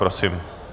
Prosím.